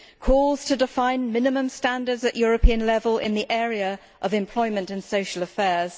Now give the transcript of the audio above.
calls to define minimum standards at European level in the area of employment and social affairs